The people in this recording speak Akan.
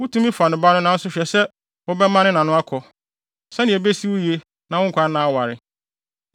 Wutumi fa ne ba no nanso hwɛ sɛ wobɛma ne na no akɔ, sɛnea ebesi wo yiye na wo nkwanna aware.